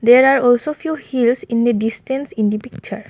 there are also few heels in the distance in the picture.